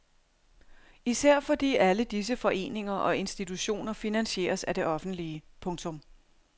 Især fordi alle disse foreninger og institutioner finansieres af det offentlige. punktum